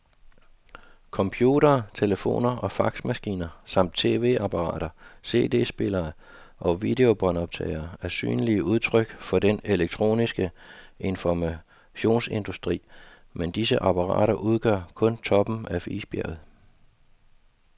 Computere, telefoner og faxmaskiner samt tv-apparater, cd-spillere og videobåndoptagere er synlige udtryk for den elektroniske informationsindustri, men disse apparater udgør kun toppen af isbjerget.